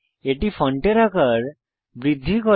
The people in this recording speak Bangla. এটি ফন্টের আকার বৃদ্ধি করে